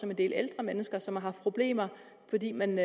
en del ældre mennesker som har haft problemer fordi man